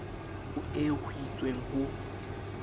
ho eo ho itsweng ho